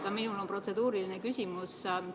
Ka minul on protseduuriline küsimus.